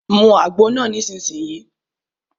Mu àgbo náà nísìsiyìí!